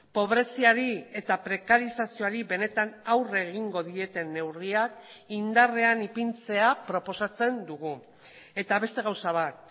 pobreziari eta prekarizazioari benetan aurre egingo dieten neurriak indarrean ipintzea proposatzen dugu eta beste gauza bat